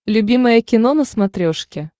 любимое кино на смотрешке